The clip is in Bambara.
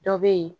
Dɔ be yen